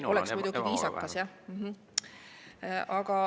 See oleks muidugi viisakas, jah.